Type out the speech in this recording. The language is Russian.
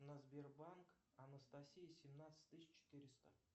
на сбербанк анастасия семнадцать тысяч четыреста